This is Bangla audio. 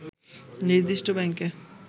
নির্দিষ্ট ব্যাংকে